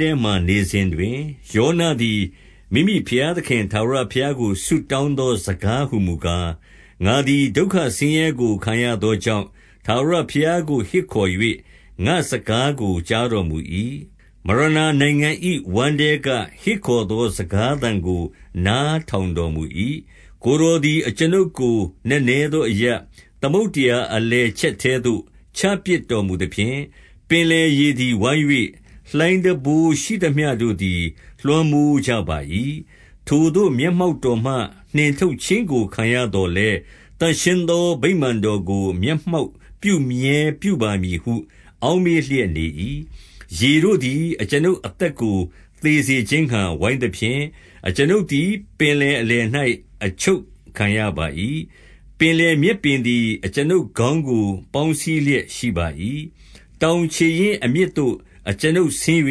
ထဲမှာနေစဉ်တွင်၊ ယောနသည် မိမိ ဘုရားသခင် ထာဝရဘုရားကို ဆုတောင်းသောစကားဟူ မူကား၊ 2 ငါသည် ဒုက္ခဆင်းရဲကို ခံရသောကြောင့်၊ ထာဝရ ဘုရားကို ဟစ်ခေါ်၍ ငါ့စကားကို ကြားတော်မူ၏။ မရ ဏာနိုင်ငံ၏ဝမ်းထဲက ဟစ်ခေါ်သော စကားသံကို နား ထောင်တော်မူ၏။ 3 ကိုယ်တော်သည် အကျွန်ုပ်ကို နက်နဲသောအရပ်၊ သမုဒ္ဒရာအလယ်ချက်ထဲသို့ ချပစ်တော်မူသဖြင့်၊ ပင်လယ် ရေသည် ဝိုင်း၍ လှိုင်းတံပိုးတော်ရှိသမျှတို့သည် လွှမ်းမွန်း ကြပါ၏။ 4 ထိုသို့ မျက်မှောက်တော်မှ နှင်ထုတ်ခြင်းကို ခံရ သော်လည်း၊ သန့်ရှင်းသောဗိမာန်တော်ကို မျက်မှောက်ပြု မြဲ ပြုပါမည်ဟု အောက်မေ့လျက်နေ၏။ 5 ရေတို့သည် အကျွန်ုပ်အသက်ကို သေစေခြင်းငှါ ဝိုင်းသဖြင့်၊ အကျွန်ုပ်သည် ပင်လယ်အလယ်၌ အချုပ်ခံရ ပါ၏။ ပင်လယ်မြက်ပင်သည် အကျွန်ုပ်ခေါင်းကို ပေါင်းစည်းလျက်ရှိပါ၏။ 6 တောင်ခြေရင်းအမြစ်သို့ အကျွန်ုပ်ဆင်း၍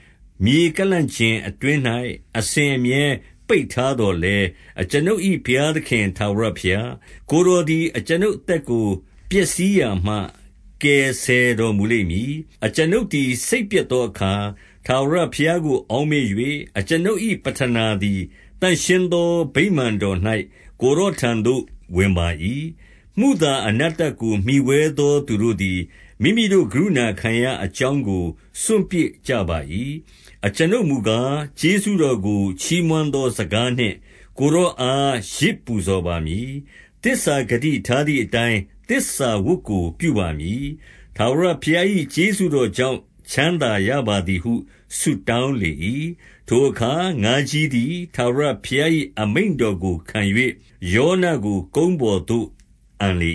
၊ မြေ ကန့်လန့်ကျင်အတွင်း၌ အစဉ်အမြဲပိတ်ထားသော်လည်း၊ အကျွန်ုပ်၏ဘုရားသခင် ထာဝရဘုရား၊ ကိုယ်တော်သည် အကျွန်ုပ်အသက်ကို ပျက်စီးရာမှ ကယ်ဆယ်တော်မူလိမ့် မည်။ 7 အကျွန်ုပ်သည် စိတ်ပျက်သောအခါ ထာဝရဘုရား ကို အောက်မေ့၍၊ အကျွန်ုပ်၏ပဌနာသည် သန့်ရှင်းသော ဗိမာန်တော်၌ ကိုယ်တော်ထံသို့ ဝင်ပါ၏။ 8 မုသာအနတ္တကို မှီဝဲသောသူတို့သည် မိမိတို့ ကရုဏာခံရာအကြောင်းကို စွန့်ပစ်ကြပါ၏။ 9 အကျွန်ုပ်မူကား၊ ကျေးဇူးတော်ကို ချီးမွမ်းသော စကားနှင့် ကိုယ်တော်အား ယဇ်ပူဇော်ပါမည်။ သစ္စာဂတိ ထားသည်အတိုင်း သစ္စာဝတ်ကို ပြုပါမည်။ ထာဝရ ဘုရား၏ ကျေးဇူးတော်ကြောင့် ချမ်းသာရပါသည်ဟု ဆုတောင်းလေ၏။ 10 ထိုအခါ ငါးကြီးသည် ထာဝရဘုရား၏ အမိန့် တော်ကို ခံ၍ ယောနကို ကုန်းပေါ်သို့ အန်လေ